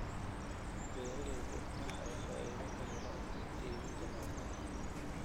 Beeralayda waxay faa'iido ka helaan iibinta malabka.